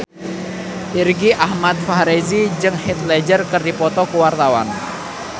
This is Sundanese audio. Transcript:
Irgi Ahmad Fahrezi jeung Heath Ledger keur dipoto ku wartawan